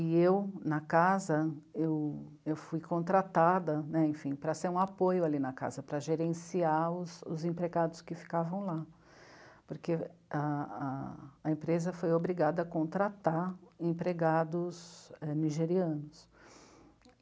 eu, na casa, eu, eu fui contratada para ser um apoio ali na casa, para gerenciar os, os empregados que ficavam lá, porque a empresa foi obrigada a, a contratar empregados nigerianos.